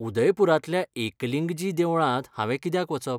उदयपूरांतल्या एकलिंगजी देवळांत हांवें कित्याक वचप?